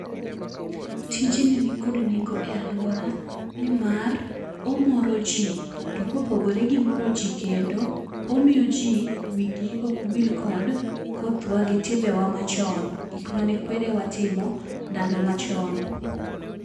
Tij ni ni kod nengo e aluora ni mar omoro ji, to ko opogore gi moro ji kendo, omiyo ji wii gi okwil gi koth wa gi timbe wa ma chon gik ma ne kwerewa timo ndalo ma chon.